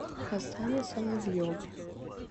хасане соловьеве